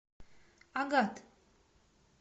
агат